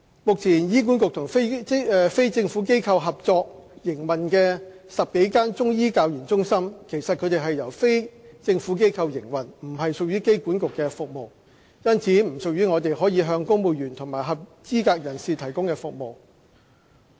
目前醫管局與非政府機構合作營運的10多間中醫教研中心，其實它們是由非政府機構營運，不屬醫管局的服務，因此不屬於我們可向公務員及合資格人士提供的服務。